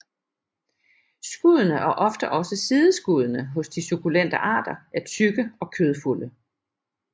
Skuddene og ofte også sideskuddene hos de sukkulente arter er tykke og kødfulde